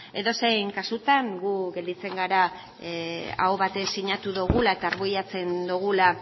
edozein kasutan gu gelditzen gara aho batez sinatu dugula eta arbuiatzen dugula